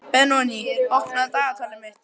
Benoný, opnaðu dagatalið mitt.